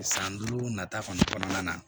San duuru nata kɔni kɔnɔna na